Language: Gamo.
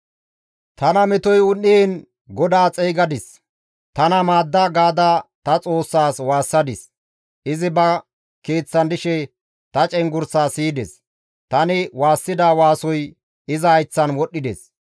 Tana metoy un7iin GODAA xeygadis; «Tana maadda» gaada ta Xoossas waassadis; izi ba Keeththan dishe ta cenggurssaa siyides; tani waassida waasoy iza hayththan wodhdhides.